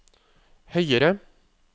høyere